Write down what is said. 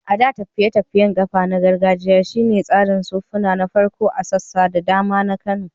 A da, tafiye-tafiyen kafa na gargajiya shi ne tsarin sufuri na farko a sassa da dama na Kano.